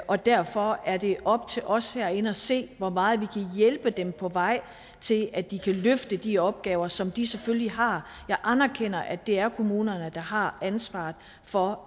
og derfor er det op til os herinde at se hvor meget vi kan hjælpe dem på vej til at de kan løfte de opgaver som de selvfølgelig har jeg anerkender at det er kommunerne der har ansvaret for